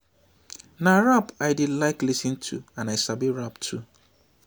na rap i dey like lis ten to and i sabi rap too